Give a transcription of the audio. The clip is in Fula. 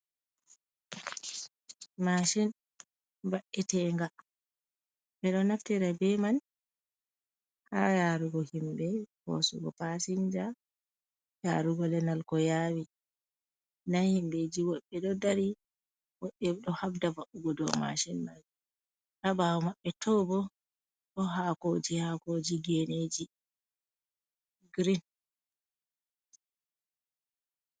Mashin babbetenga. Ɓeɗo naftira be man ha yarugo himbe, ko hosugo pasinja, yarugo lenal ko yawi. Nda himbeji woɓbe ɗo dari woɓɓedo habda va'ugo do mashin mai, habawo maɓɓe tobo bo hakoji hakoji geneji grin.